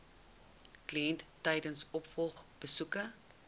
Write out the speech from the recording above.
kliënt tydens opvolgbesoeke